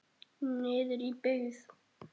Niður í byggð.